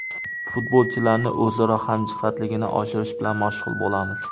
Futbolchilarning o‘zaro hamjihatligini oshirish bilan mashg‘ul bo‘lamiz.